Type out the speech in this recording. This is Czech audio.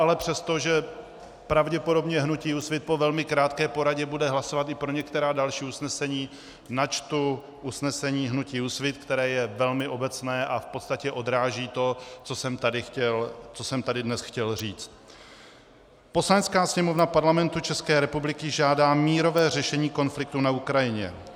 Ale přesto, že pravděpodobně hnutí Úsvit po velmi krátké poradě bude hlasovat i pro některá další usnesení, načtu usnesení hnutí Úsvit, které je velmi obecné a v podstatě odráží to, co jsem tady dnes chtěl říct: Poslanecká sněmovna Parlamentu České republiky žádá mírové řešení konfliktu na Ukrajině.